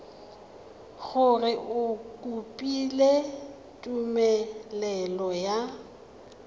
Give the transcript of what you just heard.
gore o kopile tumelelo ya